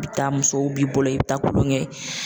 I bi taa musow b'i bolo i bi taa kulonkɛ